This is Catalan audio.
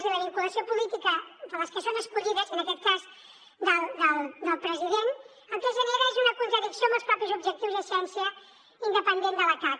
i la vinculació política de les que són escollides en aquest cas del president el que genera és una contradicció amb els propis objectius i essència independent del cac